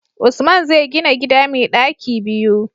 Usman zai gina gida mai ɗaki biyu